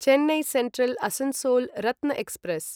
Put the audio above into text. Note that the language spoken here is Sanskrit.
Chennai Central Asansol Ratna express